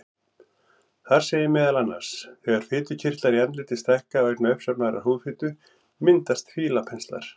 Þar segir meðal annars: Þegar fitukirtlar í andliti stækka vegna uppsafnaðrar húðfitu myndast fílapenslar.